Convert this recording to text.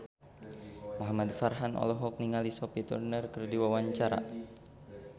Muhamad Farhan olohok ningali Sophie Turner keur diwawancara